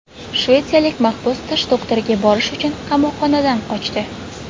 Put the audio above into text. Shvetsiyalik mahbus tish doktoriga borish uchun qamoqxonadan qochdi.